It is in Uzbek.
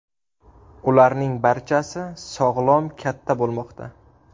Ularning barchasi sog‘lom katta bo‘lmoqda.